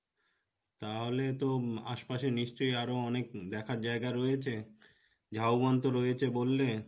তাহলে তো আশপাশে নিশ্চয় আরো অনেক দেখার জায়গা রয়েছে ঝাও বন তো রয়েছে বললে,